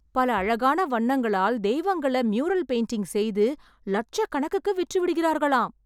பல அழகான வண்ணங்களால் தெய்வங்களை ம்யூரல் பெயிண்ட்டிங் செய்து, லட்சக்கணக்குக்கு விற்றுவிடுகிறார்களாம்...!